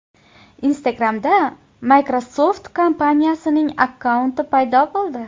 Instagram’da Microsoft kompaniyasining akkaunti paydo bo‘ldi .